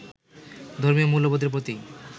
ধর্মীয় মূল্যবোধের প্রতি